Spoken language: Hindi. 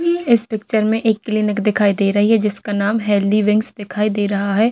इ इस पिक्चर में एक क्लिनिक दिखाई दे रही है जिसका नाम हेल्थी विंग्स दिखाई दे रहा है।